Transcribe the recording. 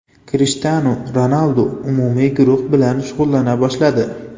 Krishtianu Ronaldu umumiy guruh bilan shug‘ullana boshladi .